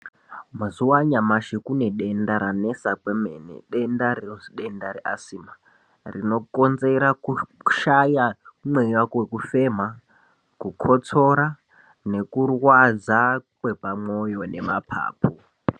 Mazuwa anyamashi kune denda ranesa kwemene, denda rinonzi denda reAsthma rinokonzera kushaya mweya wekufema, kukotsora nekurwadza kwepamwoyo nemapapu.